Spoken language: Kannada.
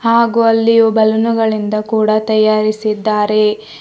ಹಾಗು ಅಲ್ಲಿ ಬಲೂನುಗಳಿಂದ ಕೂಡ ತಯಾರಿಸಿದ್ದಾರೆ.